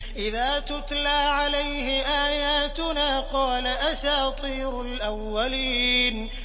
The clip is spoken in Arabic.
إِذَا تُتْلَىٰ عَلَيْهِ آيَاتُنَا قَالَ أَسَاطِيرُ الْأَوَّلِينَ